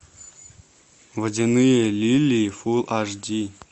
водяные лилии фул аш ди